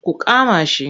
Ku kama shi!